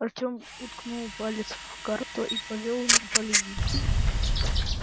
артём уткнул палец в карту и повёл им по линиям